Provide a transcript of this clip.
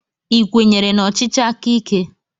Ị kwenyere na ọchịchị aka ike?